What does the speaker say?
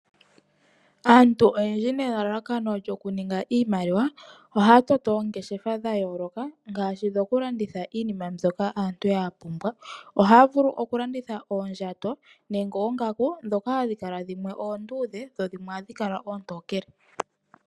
Aantu oyendji nelalakano lyoku ninga iimaliwa. Ohaya toto oongeshefa dha yooloka, ngashi dhoku landitha iinima mbyoka aantu ya pumbwa. Ohay vulu oku landitha oondjato nenge oongaku dhoka hadhi kala dhimwe oondudhe dho dhimwe oontokele.